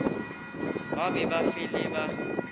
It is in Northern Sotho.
ba be ba fele ba